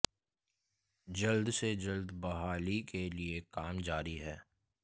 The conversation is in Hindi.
जल्द से जल्द बहाली के लिए काम जारी है